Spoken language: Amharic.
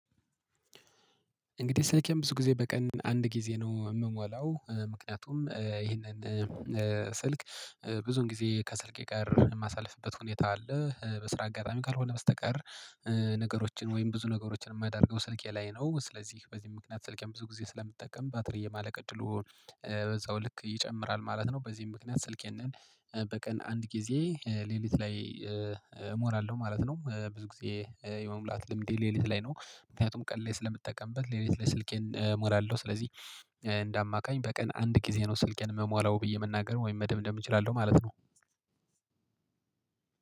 እንግዲህ ስልኬን ብዙ ጊዜ በቀን አንድ ጊዜ ነው የምሞላው። ምክንያቱም ይህንን ስልክ ብዙን ጊዜ ከስልኬ ጋር የማሳልፍበት ሁኔታ አለ። በስራ አጋራሚ ካልሆነ በስተቀር ነገሮችን ወይም ብዙ ነገሮችን የማደርገው ስልኬ ላይ ነው። ስለዚህ በዚህ ምክንያት ስልኬን ብዙ ጊዜ ስለምጠቀም ባትሪ የማለቅ እድሉ በዛው ልክ ይጨምራል ማለት ነው። በዚህም ምክንያት ስልኬን በቀን አንድ ጊዜ ሌሊት ላይ እሞላለሁ ማለት ነው። ብዙ ጊዜ የመሙላት ልምዴ ሌሊት ላይ ነው። ምክንያቱም ቀን ላይ ስለምጠቀምበት ሌሊት ላይ ስልኬን እሞላለሁ። ስለዚህ እንደ አማካኝ በቀን አንድ ጊዜ ነው ስልኬን የምሞላው ብዬ መናገር ወይም መደምደም እችላለሁ ማለት ነው።